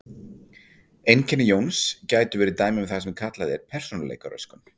Einkenni Jóns gætu verið dæmi um það sem kallað er persónuleikaröskun.